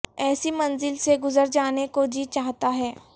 ایسی منزل سے گزر جانے کو جی چاہتا ہے